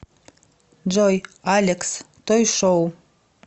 джой алекс той шоу